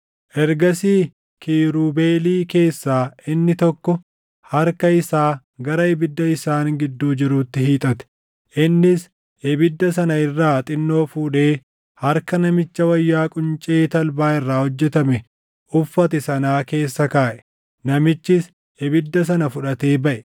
Ergasii kiirubeelii keessaa inni tokko harka isaa gara ibidda isaan gidduu jiruutti hiixate. Innis ibidda sana irraa xinnoo fuudhee harka namicha wayyaa quncee talbaa irraa hojjetame uffate sanaa keessa kaaʼe; namichis ibidda sana fudhatee baʼe.